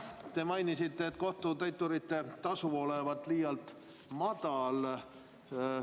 Te mainisite, et kohtutäiturite tasu on liialt madal.